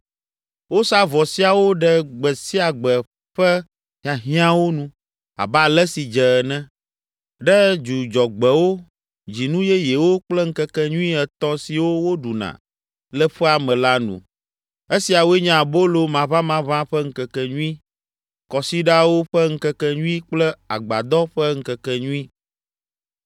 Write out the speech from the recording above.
Wosaa vɔ siawo ɖe gbe sia gbe ƒe hiahiãwo nu abe ale si dze ene, ɖe Dzudzɔgbewo, Dzinu Yeyewo kple ŋkekenyui etɔ̃ siwo woɖuna le ƒea me la nu. Esiawoe nye Abolo Maʋamaʋã ƒe Ŋkekenyui, Kɔsiɖawo ƒe Ŋkekenyui kple Agbadɔ ƒe Ŋkekenyui.